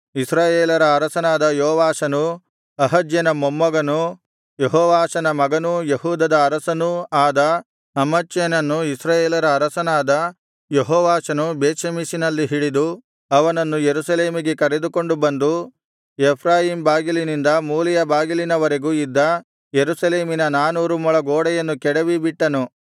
ಇಸ್ರಾಯೇಲರ ಅರಸನಾದ ಯೋವಾಷನೂ ಅಹಜ್ಯನ ಮೊಮ್ಮಗನೂ ಯೆಹೋವಾಷನ ಮಗನೂ ಯೆಹೂದದ ಅರಸನೂ ಆದ ಅಮಚ್ಯನನ್ನು ಇಸ್ರಾಯೇಲರ ಅರಸನಾದ ಯೆಹೋವಾಷನು ಬೇತ್ಷೆಮೆಷಿನಲ್ಲಿ ಹಿಡಿದು ಅವನನ್ನು ಯೆರೂಸಲೇಮಿಗೆ ಕರೆದುಕೊಂಡು ಬಂದು ಎಫ್ರಾಯೀಮ್ ಬಾಗಿಲಿನಿಂದ ಮೂಲೆಯ ಬಾಗಿಲಿನವರೆಗೂ ಇದ್ದ ಯೆರೂಸಲೇಮಿನ ನಾನೂರು ಮೊಳ ಗೋಡೆಯನ್ನು ಕೆಡವಿ ಬಿಟ್ಟನು